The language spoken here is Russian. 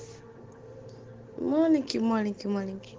маленькие маленькие маленькие